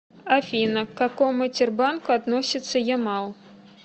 афина к какому тербанку относится ямал